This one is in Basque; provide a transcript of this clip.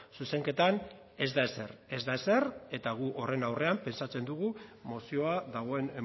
zuzenketan ez da ezer ez da ezer eta gu horren aurrean pentsatzen dugu mozioa dagoen